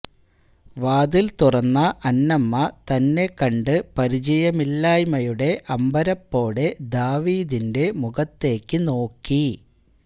വാതിൽ തുറന്ന അന്നമ്മ തന്നെ കണ്ട് പരിചയമില്ലായ്മയുടെ അമ്പരപ്പോടെ ദാവീദിന്റെ മുഖത്തേയ്ക്കുനോക്കി